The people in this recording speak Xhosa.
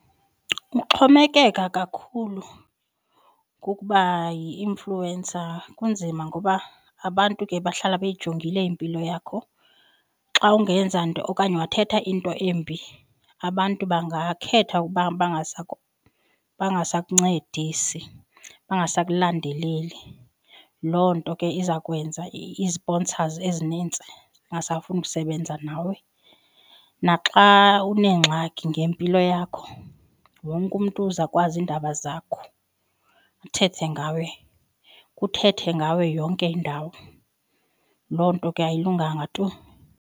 Ukuxhomekeka kakhulu kukuba yi-influencer kunzima ngoba abantu ke bahlala beyijongile impilo yakho. Xa ungenza nto okanye wathetha into embi abantu bangakhetha ukuba bangasakuncedisi, bangasakulandeleli. Loo nto ke iza kwenza ii-sponsors ezinintsi zingasafuni ukusebenza nawe, naxa uneengxaki ngempilo yakho wonke umntu uzawukwazi iindaba zakho uthethe ngawe, kuthethwe ngawe yonke indawo. Loo nto ke ayilunganga tu.